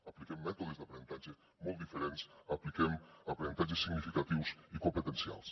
apliquem mètodes d’aprenentatge molt diferents apliquem aprenentatges significatius i competencials